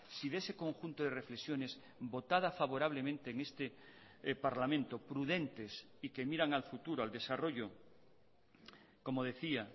si de ese conjunto de reflexiones votada favorablemente en este parlamento prudentes y que miran al futuro al desarrollo como decía